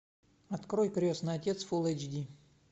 открой крестный отец фулл эйч ди